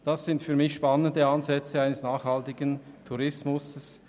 Das sind für mich spannende Ansätze eines nachhaltigen Tourismus.